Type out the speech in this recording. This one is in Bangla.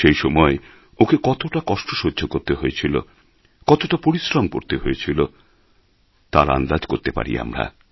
সেই সময় ওঁকে কতটা কষ্ট সহ্য করতে হয়েছিল কতটা পরিশ্রম করতে হয়েছিল তার আন্দাজ করতে পারি আমরা